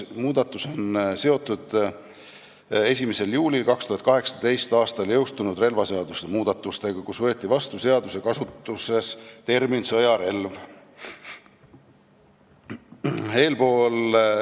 Muudatus on seotud 1. juulil 2018. aastal jõustunud relvaseaduse muudatustega, kus võeti kasutusse termin "sõjarelv".